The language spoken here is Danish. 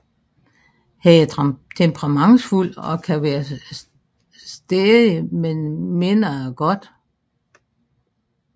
Han er temperamentsfuld og kan være stadig men mener det godt